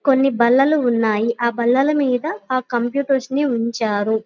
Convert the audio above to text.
కొన్ని బల్లలు ఉన్నాయ్ ఆ బల్లల మీద ఆ కంప్యూటర్స్ ని ఉంచారు.